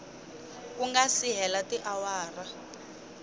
ku nga si hela tiawara